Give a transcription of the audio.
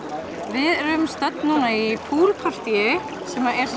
við erum stödd núna í partýi sem er